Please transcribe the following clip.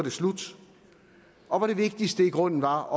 slut og hvor det vigtigste i grunden var